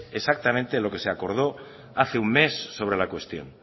exactamente lo que se acordó hace un mes sobre la cuestión